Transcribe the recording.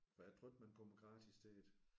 For jeg tror ikke man kommer gratis til det